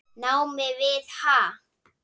námi við HA.